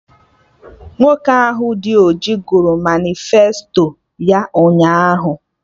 Nwoke ahụ dị ọjị gụrụ manịfesto ya ụnyaahụ